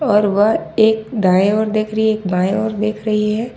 और वह एक दाएं ओर देख रही है एक बाएं ओर देख रही है।